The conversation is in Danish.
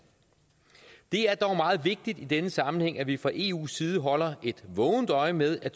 det er dog meget vigtigt i denne sammenhæng at vi fra eus side holder et vågent øje med at